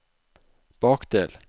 bakdel